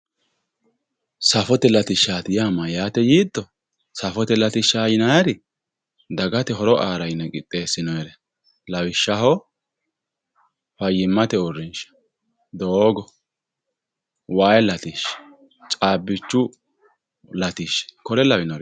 Safote latishati ya mayate yito safote latisha yinayiri dagaye horo ara qixesinonireti lawishaho fayimate urinsha dogo wayi latisha cabichu latisha kote lawinoreti